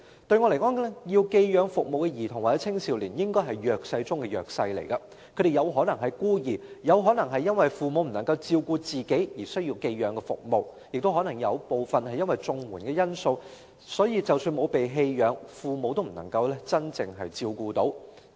對我來說，需要寄養服務的兒童或青少年，應該是弱勢中的弱勢，他們有可能是孤兒；有可能是因為父母不能夠照顧自己而需要寄養服務，亦可能有部分因綜援的緣故，所以即使沒有被棄養，父母亦不能夠真正照顧他們。